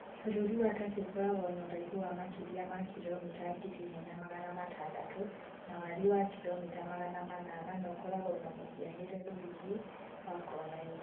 Bũrũri wa Turkey ũkoragwo na ũraihu wa makĩria ma kiromita ngiri imwe na magana matandatu[1,600 ]na wariĩ wa kiromita[ magana manana [800], na ũkoragwo na mũhianire rũrigi wa kona inya.